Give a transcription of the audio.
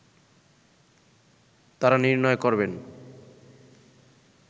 তারা নির্ণয় করবেন